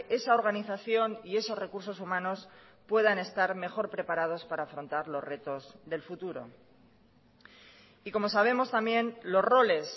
esa organización y esos recursos humanos puedan estar mejor preparados para afrontar los retos del futuro y como sabemos también los roles